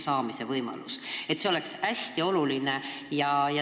Selline küsitlus on hästi oluline.